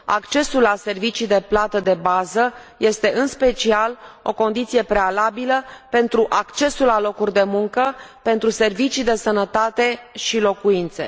accesul la servicii de plată de bază este, în special, o condiție prealabilă pentru accesul la locuri de muncă, pentru servicii de sănătate și locuințe.